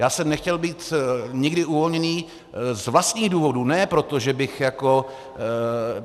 Já jsem nechtěl být nikdy uvolněný z vlastních důvodů, ne proto, že bych jako...